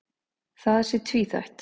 Það sé tvíþætt.